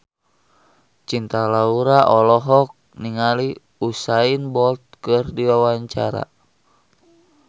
Cinta Laura olohok ningali Usain Bolt keur diwawancara